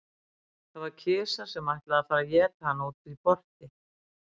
Það var kisa sem ætlaði að fara að éta hana úti í porti.